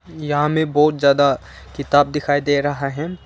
यहां में बहुत ज्यादा किताब दिखाई दे रहा है।